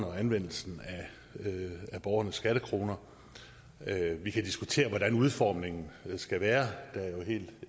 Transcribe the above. anvendelsen af borgernes skattekroner vi kan diskutere hvordan udformningen af den skal være